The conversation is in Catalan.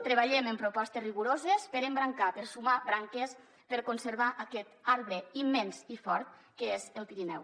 treballem en propostes rigoroses per embrancar per sumar branques per conservar aquest arbre immens i fort que és el pirineu